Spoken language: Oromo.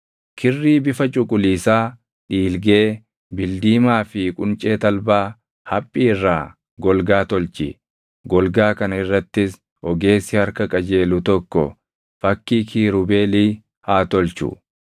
“Kirrii bifa cuquliisaa, dhiilgee, bildiimaa fi quncee talbaa haphii irraa golgaa tulchi; golgaa kana irrattis ogeessi harka qajeelu tokko fakkii kiirubeelii haa tolchu.